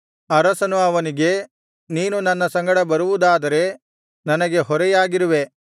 ಅರಸನು ಅವನಿಗೆ ನೀನು ನನ್ನ ಸಂಗಡ ಬರುವುದಾದರೆ ನನಗೆ ಹೊರೆಯಾಗಿರುವೆ